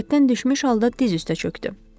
Taqətdən düşmüş halda diz üstə çökdü.